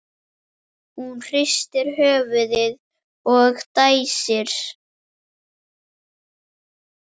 Hún hristir höfuðið og dæsir.